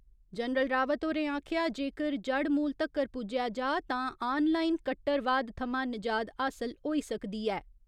General Rawat होरें आखेआ जेकर जड़मूल तक्कर पुज्जेआ जा तां आन लाईन कट्टरवाद थमां निजाद हासल होई सकदी ऐ।